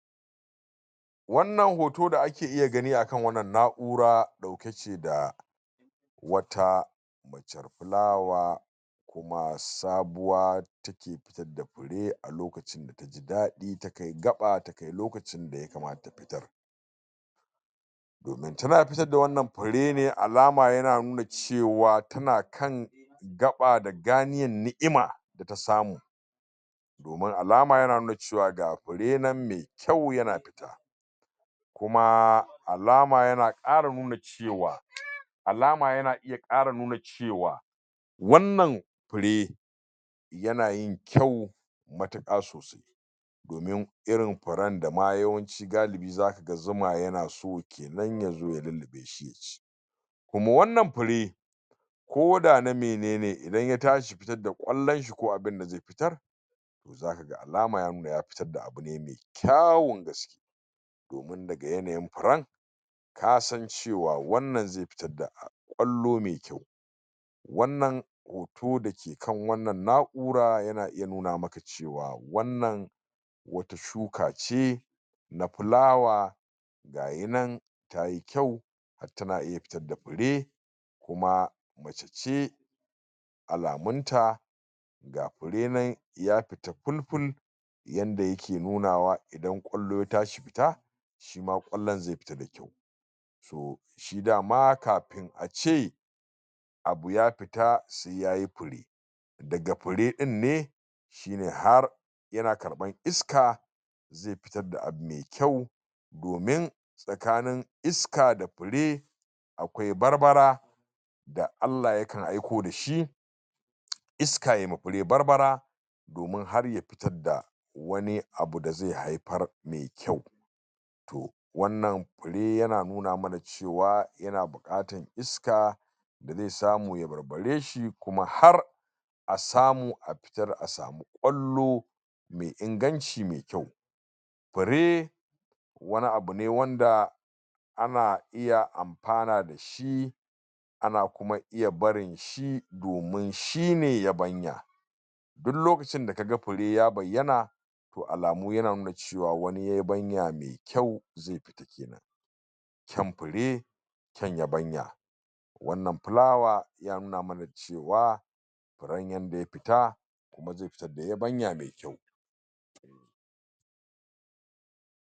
wannan hoton da ake iya gani a wannan na'ura dauke ce da wata macer fulawa kuma sabuwa take fidda fure a lokacin taji dadi ta kai gaba ta kai lokacin da ya kamata ta fitar domin tana fitar da wannan fure ne alama yana nuna cewa tana kan gaba da ganiyar ni'ima da ta samu domin alama yana nuna cewa ga fure nan me kyau yana fita kuma alama yana kara nuna cewa cewa alama yana iya kara nuna cewa wannan fure yana yin kyau matuka sosai domin irin furen dama yawanci galibi yawanci zuma yana so kenan yana so kenan ya zo ya lullubeshi yaci kuma wannan fure koda na menene idan ya tashi fitar da kwallonshi ko abinda zai fitar zaka ga alama ya nuna ya fitar da abune me kyau kyawun gaske domin daga yanayin furen kasan cewa wannnan zai fitar da kwallo me kyau wannan hoto dake kan kan wannan na'ura yana iya nuna maka cewa cewa wannan wata shuka ce na fulawa gayi nan tayi kyau har tana iya fitar da fure kuma mace ce alamun ta ga fure nan ya fita bul bul yadda yake nuna wa idan kwallo ya tashi fita shima kwallon zai ftia da kyau so shi dama kafin ace abu ya fita fita sai yayi fure daga fure dinne shine har yana karban iska zai fitar da abu me kyau domin tsakanin iska da fure akwai barbabra da Allah ya kan aiko dashi iska yayi ma fure barbara domin har ya fitar da wani abu da zai haifar me kyau to wannan fure yana nuna mana cewa cewa yana bukatan iska da zai samu ya barbareshi kuma har a samu a fitar a samu kwallo me inganci me kyau fure wani abune wanda ana iya amfana dashi dashi ana iya kuma barin shi domin shine ya banya duk loakcin da kaga fure ya bayyana to alamu yana nuna cewa wani yebanya me kyau zai fita kenan kyan fure kyan yabanya wannan flower ya nuna mana cewa cewa furen yadda ya fita kuma zai fitar da yabanya me kyau